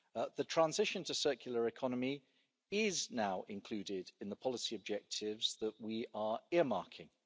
The transition to a circular economy is now included in the policy objectives that we are earmarking.